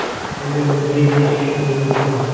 Nega unday deyishishingiz mumkin.